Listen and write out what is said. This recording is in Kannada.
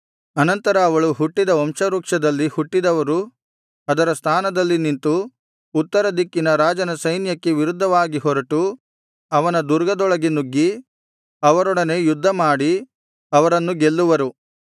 ಅನಂತರ ಅವಳು ಹುಟ್ಟಿದ ವಂಶವೃಕ್ಷದಲ್ಲಿ ಹುಟ್ಟಿದವರು ಅದರ ಸ್ಥಾನದಲ್ಲಿ ನಿಂತು ಉತ್ತರ ದಿಕ್ಕಿನ ರಾಜನ ಸೈನ್ಯಕ್ಕೆ ವಿರುದ್ಧವಾಗಿ ಹೊರಟು ಅವನ ದುರ್ಗದೊಳಗೆ ನುಗ್ಗಿ ಅವರೊಡನೆ ಯುದ್ಧಮಾಡಿ ಅವರನ್ನು ಗೆಲ್ಲುವರು